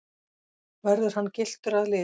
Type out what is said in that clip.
Verður hann gylltur að lit